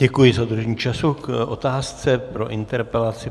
Děkuji za dodržení času k otázce pro interpelaci.